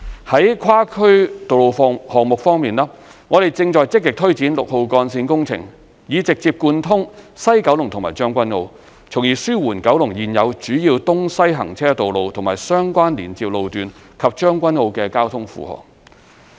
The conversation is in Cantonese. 在跨區道路項目方面，我們正積極推展六號幹線工程，以直接貫通西九龍和將軍澳，從而紓緩九龍現有主要東西行車道路和相關連接路段及將軍澳的交通負荷。